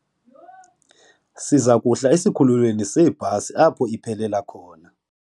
Siza kuhla esikhululweni seebhasi apho iphelela khona.